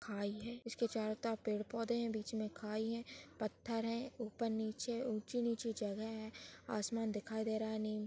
खाई है इसके चारो तरफ पेड़-पौधे है बीच मे खाई है पथर है उपर नीचे उची नीची जगह है आसमान दिखाई दे रहा।